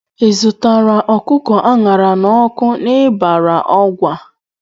Ị zụtara ọkụkọ a ṅara n'ọkụ n'Ibari Ọgwa?